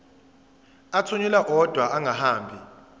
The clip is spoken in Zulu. athunyelwa odwa angahambi